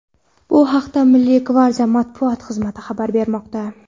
Bu haqda Milliy gvardiya matbuot xizmati xabar bermoqda.